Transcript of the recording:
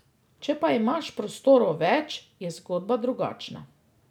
Če pa imaš prostorov več, je zgodba drugačna.